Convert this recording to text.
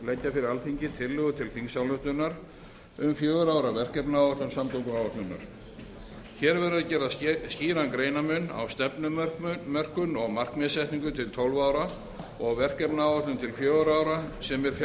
fyrir alþingi tillögu til þingsályktunar um fjögurra ára verkefnaáætlun samgönguáætlunar hér verður að gera skýran greinarmun á stefnumörkun og markmiðssetningu til tólf ára og verkefnaáætlun til fjögurra ára sem er fjárhags